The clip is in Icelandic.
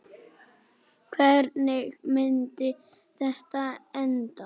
Hvernig myndi þetta enda?